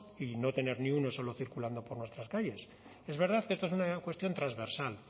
y no tener ni uno solo circulando por nuestras calles es verdad que esto es una cuestión transversal